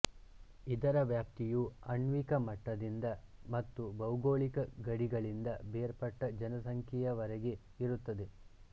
ಇದರ ವ್ಯಾಪ್ತಿಯು ಆಣ್ವಿಕ ಮಟ್ಟದಿಂದ ಮತ್ತು ಭೌಗೋಳಿಕ ಗಡಿಗಳಿಂದ ಬೇರ್ಪಟ್ಟ ಜನಸಂಖ್ಯೆಯವರೆಗೆ ಇರುತ್ತದೆ